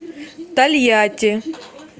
тольятти